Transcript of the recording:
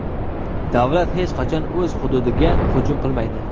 "Davlat hech qachon o‘z xududiga hujum qilmaydi".